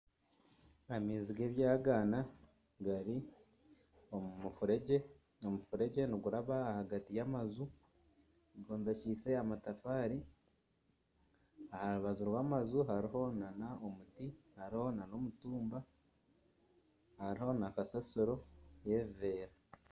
Amaizi g'ebyagaana gari omu mufuregye. Omufuregye niguraba ahagati y'amaju gombekyeise amatafaari. Aha rubaju rw'amaju hariho n'omuti hariho n'omutumba. Hariho na kasasiro y'ebiveera.